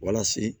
Walasa